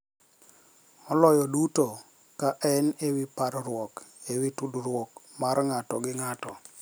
Maloyo duto, ka en e wi parruok e wi tudruok mar ng'ato gi ng'ato